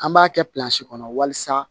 An b'a kɛ kɔnɔ walasa